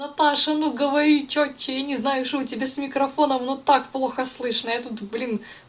наташа ну говори что тебе не знаю что у тебя с микрофоном но так плохо слышно я тут блин